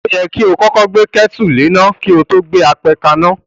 O yẹ kí o kọ́kọ́ gbé kétù léná kí o to gbe apẹ kaná.